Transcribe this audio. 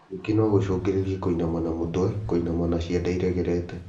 Ningĩ no gũcũngĩrĩrie kũinama na mũtwe kũinama na ciande iregerete